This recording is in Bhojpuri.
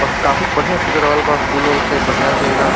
वाह काफी बढ़ियां से सज रहल बा फूल उल से बढ़ियां से एकदम।